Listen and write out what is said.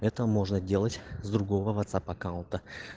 это можно делать с другого ватсап аккаунта